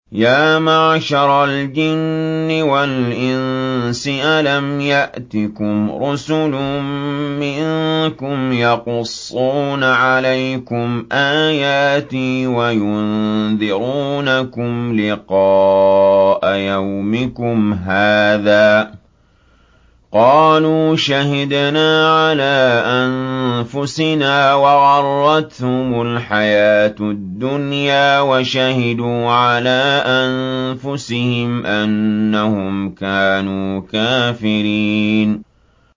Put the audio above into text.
يَا مَعْشَرَ الْجِنِّ وَالْإِنسِ أَلَمْ يَأْتِكُمْ رُسُلٌ مِّنكُمْ يَقُصُّونَ عَلَيْكُمْ آيَاتِي وَيُنذِرُونَكُمْ لِقَاءَ يَوْمِكُمْ هَٰذَا ۚ قَالُوا شَهِدْنَا عَلَىٰ أَنفُسِنَا ۖ وَغَرَّتْهُمُ الْحَيَاةُ الدُّنْيَا وَشَهِدُوا عَلَىٰ أَنفُسِهِمْ أَنَّهُمْ كَانُوا كَافِرِينَ